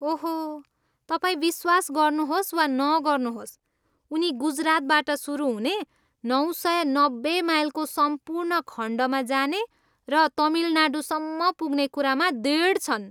ओहो, तपाईँ विश्वास गर्नुहोस् वा नगर्नुहोस्, उनी गुजरातबाट सुरु हुने नौ सय नब्बे माइलको सम्पूर्ण खण्डमा जाने र तमिलनाडूसम्म पुग्ने कुरामा दृढ छन्।